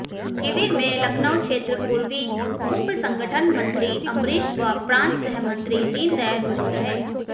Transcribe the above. शिविर में लखनऊ क्षेत्र पूर्वी उप्र संगठन मंत्री अंबरीष व प्रांत सहमंत्री दीनदयाल मौजूद रहे